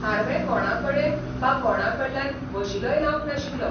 Harvey कोणाकडेन बा कोणाकडल्यान वशिलोय लावंक नाशिल्लो.